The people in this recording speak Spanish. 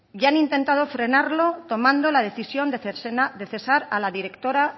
ya han intentado frenarlo tomando la decisión de cesar a la directora